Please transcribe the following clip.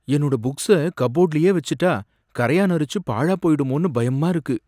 என்னோட புக்ஸ கப்போர்டுலயே வச்சுட்டா, கரையான் அரிச்சு பாழாப் போயிடுமோன்னு பயமா இருக்கு.